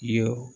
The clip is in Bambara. Ye